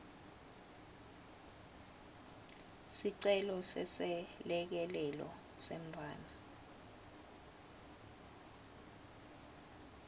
sicelo seselekelelo semntfwana